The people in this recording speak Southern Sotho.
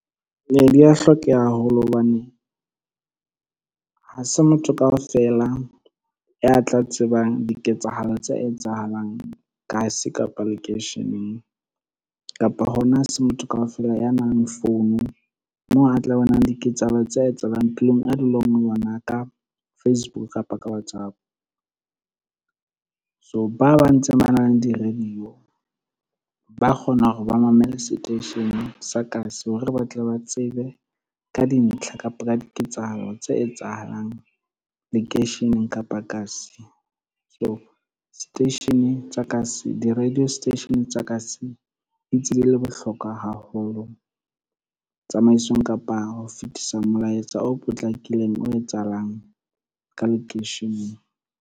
Ee di a hlokeha haholo hobane, ha se motho kaofela ya tla tsebang diketsahalo tse etsahalang kasi kapa lekeisheneng, kapa hona ha se motho kaofela ya nang le phone moo a tla bonang diketsahalo tse etsahalang tulong a leng ho yona ka Facebook kapa ka WhatsApp. So ba ba ntse ba nang le di-radio ba kgona hore ba mamele seteisheneng sa kasi hore ba tle ba tsebe ka dintlha kapo di ketsahalo tse etsahalang lekeisheneng kapa kasi. Di-radio station tsa kasi di ntse di le bohlokwa haholo tsamaisong kapa ho fetisa molaetsa o potlakileng, o etsahalang ka lekeisheneng.